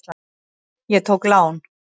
Ég tók lán.